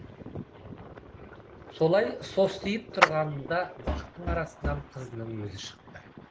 солай состиып тұрғанында бақтың арасынан қызының өзі шықты